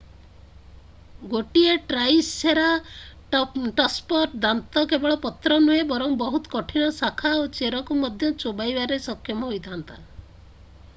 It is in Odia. ଗୋଟିଏ ଟ୍ରାଇସେରାଟପ୍ସର ଦାନ୍ତ କେବଳ ପତ୍ର ନୁହେଁ ବରଂ ବହୁତ କଠିନ ଶାଖା ଓ ଚେରକୁ ମଧ୍ୟ ଚୋବାଇବାରେ ସକ୍ଷମ ହୋଇଥା'ନ୍ତା